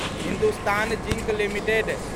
Hindustan Zinc limited